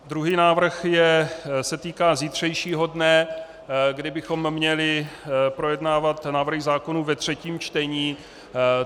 Druhý návrh se týká zítřejšího dne, kdy bychom měli projednávat návrhy zákonů ve třetím čtení.